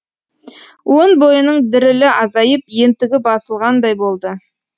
өн бойының дірілі азайып ентігі басылғандай болды